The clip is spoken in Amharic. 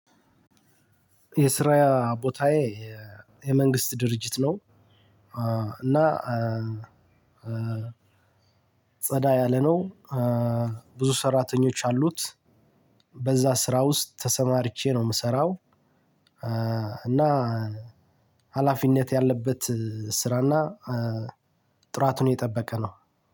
የስራዬ ቦታዬ የመንግስት ድርጅት ነው። እና ጸዳ ያለ ነው። ብዙ ሰራተኞች አሉት። በዛ ስራ ውስጥ ተሰማርቼ ነው የምሰራው። እና ሀላፊነት ያለበት ስራ እና ጥራቱን የጠበቀ ነው